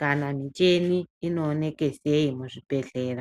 kana mucheni inoonekwa sei mu zvibhedhlera.